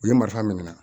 U ye marifa minɛ